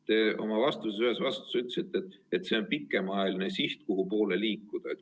Te ühes oma vastuses ütlesite, et see on pikemaajaline siht, kuhupoole liikuda.